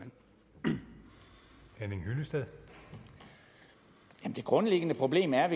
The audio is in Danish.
min tale det grundlæggende problem er